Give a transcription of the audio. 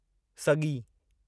सॻी